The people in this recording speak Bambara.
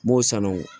N b'o sanu